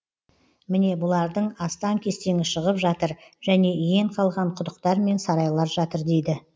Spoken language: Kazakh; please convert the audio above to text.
міне бұлардың астан кестеңі шығып жатыр және иен қалған құдықтар мен сарайлар жатыр дейді